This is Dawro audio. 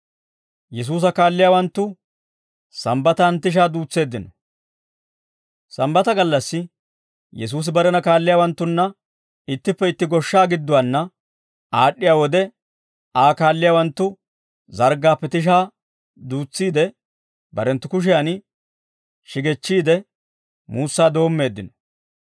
Sambbata gallassi Yesuusi barena kaalliyaawanttunna ittippe itti goshshaa gidduwaanna aad'd'iyaa wode Aa kaalliyaawanttu zarggaappe tishaa duutsiide barenttu kushiyan shigechchiide muussaa doommeeddino.